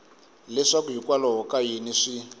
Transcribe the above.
leswaku hikwalaho ka yini swi